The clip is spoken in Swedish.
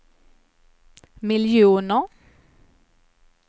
miljoner